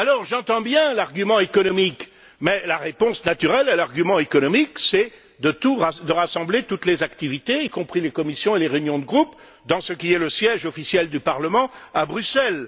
J'entends bien l'argument économique, mais la réponse naturelle à l'argument économique est de rassembler toutes les activités, y compris celles des commissions et les réunions de groupe, dans ce qui est le siège officiel du Parlement, à Bruxelles.